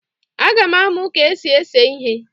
Aga m amụ ka esi ese ihe